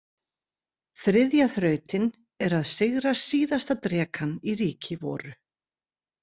Þriðja þrautin er að sigra síðasta drekann í ríki voru.